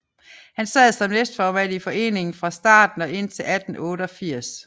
Han sad som næstformand i foreningen fra starten og indtil 1888